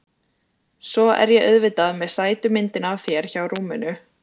Svo er ég auðvitað með sætu myndina af þér hjá rúminu.